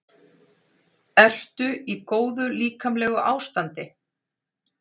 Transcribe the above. Ertu í góðu líkamlegu ástandi?